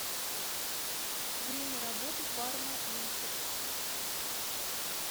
время работы фармаимпекс